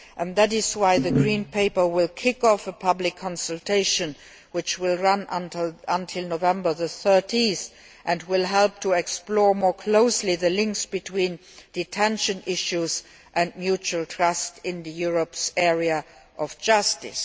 That is why the Green Paper will kick off a public consultation, which will run until 30 November and will help to explore more closely the links between detention issues and mutual trust in Europe's area of justice.